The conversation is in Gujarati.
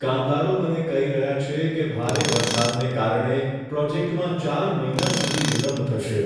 કામદારો મને કહી રહ્યા છે કે ભારે વરસાદને કારણે પ્રોજેક્ટમાં ચાર મહિના સુધી વિલંબ થશે.